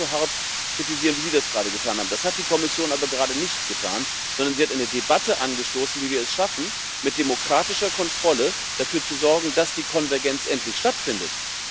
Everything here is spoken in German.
würde ich das genauso hart kritisieren, wie Sie das gerade getan haben. Das hat die Kommission aber gerade nicht getan, sondern sie hat eine Debatte angestoßen, wie wir es schaffen, mit demokratischer Kontrolle dafür zu sorgen, dass die Konvergenz endlich stattfindet.